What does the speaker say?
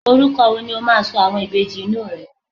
oruko wo ni o ma so àwọn Ìbejì inú rẹ